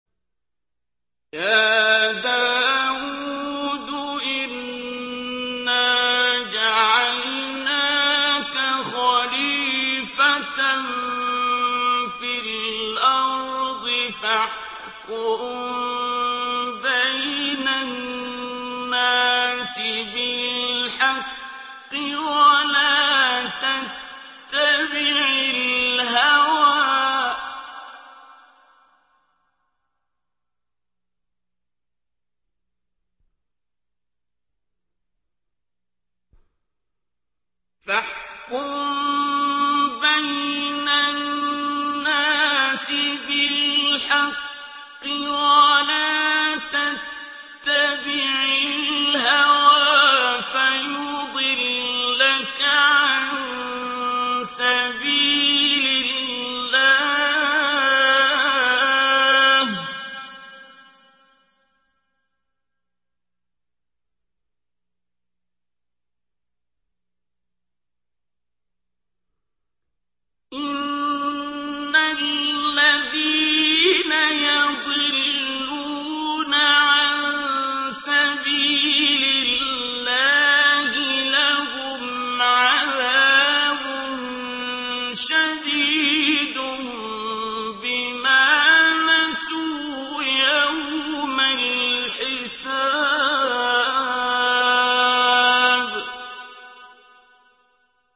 يَا دَاوُودُ إِنَّا جَعَلْنَاكَ خَلِيفَةً فِي الْأَرْضِ فَاحْكُم بَيْنَ النَّاسِ بِالْحَقِّ وَلَا تَتَّبِعِ الْهَوَىٰ فَيُضِلَّكَ عَن سَبِيلِ اللَّهِ ۚ إِنَّ الَّذِينَ يَضِلُّونَ عَن سَبِيلِ اللَّهِ لَهُمْ عَذَابٌ شَدِيدٌ بِمَا نَسُوا يَوْمَ الْحِسَابِ